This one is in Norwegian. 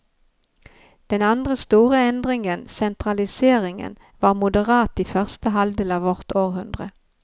Den andre store endringen, sentraliseringen, var moderat i første halvdel av vårt århundre.